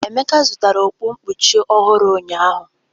Emeka zụtara okpu nkpuchi ọhụrụ ụnyahụ?